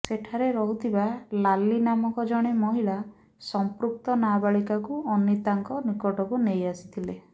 ସେଠାରେ ରହୁଥିବା ଲାଲି ନାମକ ଜଣେ ମହିଳା ସଂପୃକ୍ତ ନାବାଳିକାଙ୍କୁ ଅନୀତାଙ୍କ ନିକଟକୁ ନେଇ ଆସିଥିଲେ